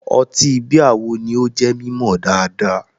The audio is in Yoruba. Ọtí bíà wo ni ó jẹ́ mímọ̀ dáadáa?